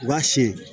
U b'a siyɛn